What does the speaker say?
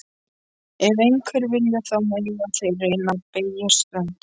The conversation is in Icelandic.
Ef einhverjir vilja, þá mega þeir reyna að beygja stöngina.